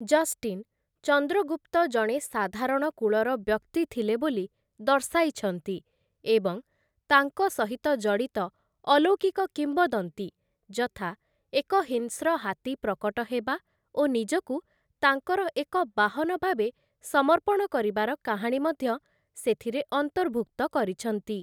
Justin Chandragupta ଜଣେ ସାଧାରଣ କୁଳର ବ୍ୟକ୍ତି ଥିଲେ ବୋଲି ଦର୍ଶାଇଛନ୍ତି ଏବଂ ତାଙ୍କ ସହିତ ଜଡ଼ିତ ଅଲୌକିକ କିମ୍ବଦନ୍ତୀ, ଯଥା ଏକ ହିଂସ୍ର ହାତୀ ପ୍ରକଟ ହେବା ଓ ନିଜକୁ ତାଙ୍କର ଏକ ବାହନ ଭାବେ ସମର୍ପଣ କରିବାର କାହାଣୀ ମଧ୍ୟ ସେଥିରେ ଅନ୍ତର୍ଭୁକ୍ତ କରିଛନ୍ତି ।